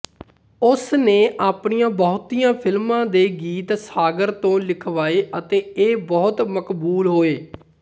ਉਸ ਨੇ ਆਪਣੀ ਬਹੁਤੀਆਂ ਫ਼ਿਲਮਾਂ ਦੇ ਗੀਤ ਸਾਗ਼ਰ ਤੋਂ ਲਿਖਵਾਏ ਅਤੇ ਇਹ ਬਹੁਤ ਮਕਬੂਲ ਹੋਏ